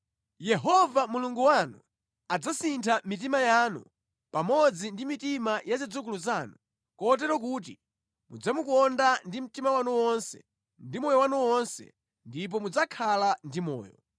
Yehova Mulungu wanu adzasintha mitima yanu pamodzi ndi mitima ya zidzukulu zanu, kotero kuti mudzamukonda ndi mtima wanu wonse ndi moyo wanu wonse, ndipo mudzakhala ndi moyo.